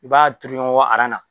I b'a tuuru ɲɔgɔn kɔ aran na